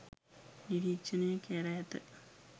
නිරීක්ෂණය කැර ඇත.